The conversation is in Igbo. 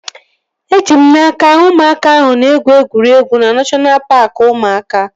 Eji m n'aka, ụmụaka ahụ ga-egwu egwuregwu na neshọna paaki ụmụaka